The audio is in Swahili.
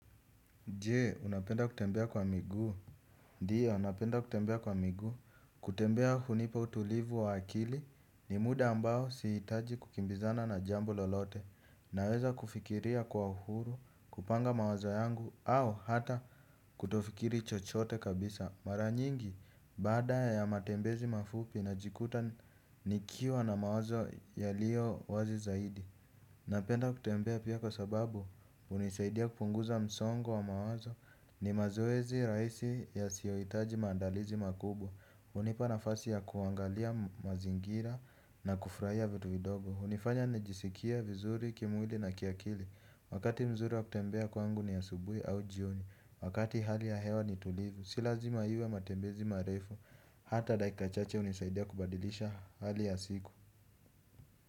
Je, unapenda kutembea kwa miguu. Ndio, napenda kutembea kwa miguu. Kutembea hunipa utulivu wa akili ni muda ambao si hitaji kukimbizana na jambo lolote. Naweza kufikiria kwa uhuru, kupanga mawazo yangu, au hata kutofikiri chochote kabisa. Mara nyingi, baada ya matembezi mafupi na jikuta nikiwa na mawazo yaliyo wazi zaidi. Napenda kutembea pia kwa sababu hunisaidia kupunguza msongo wa mawazo ni mazoezi rahisi yasiyohitaji maandalizi makubwa. Hunipa nafasi ya kuangalia mazingira na kufurahia vitu vidogo hunifanya nijisikie vizuri kimwili na kiakili. Wakati mzuri wa kutembea kwangu ni asubuhi au jioni. Wakati hali ya hewa ni tulivu si lazima iwe matembezi marefu. Hata dakika chache hunisaidia kubadilisha hali ya siku.